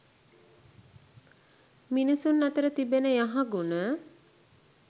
මිනිසුන් අතර තිබෙන යහගුණ